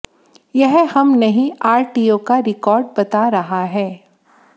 यह हम नहीं आरटीओ का रिकॉर्ड बता रहा है